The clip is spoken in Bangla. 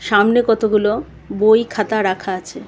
সামনে কতগুলো বই খাতা রাখা আছে .